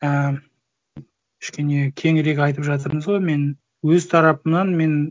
і кішкене кеңірек айтып жатырмыз ғой мен өз тарапымнан